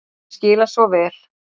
Ég skil hann svo vel.